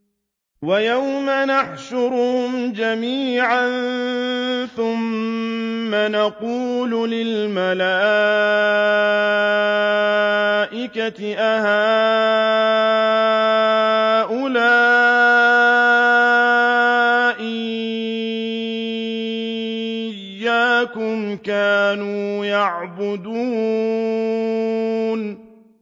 وَيَوْمَ يَحْشُرُهُمْ جَمِيعًا ثُمَّ يَقُولُ لِلْمَلَائِكَةِ أَهَٰؤُلَاءِ إِيَّاكُمْ كَانُوا يَعْبُدُونَ